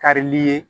Karili ye